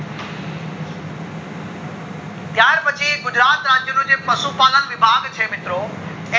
ત્યાર પછી ગુજરાત રાજ્ય નું જે પશુ પાલન વિભાગ છે મિત્રો એ